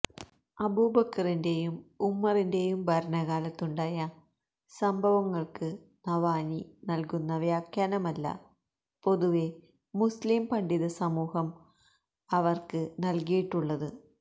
അബൂബക്റിന്റെയും ഉമറിന്റെയും ഭരണകാലത്തുണ്ടായ സംഭവങ്ങള്ക്ക് നബ്ഹാനി നല്കുന്ന വ്യാഖ്യാനമല്ല പൊതുവെ മുസ്ലിം പണ്ഡിതസമൂഹം അവക്ക് നല്കിയിട്ടുള്ളത്